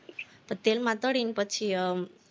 તેલમાં તળીને પછી હમ